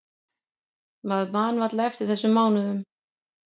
Maður man varla eftir þessum mánuðum.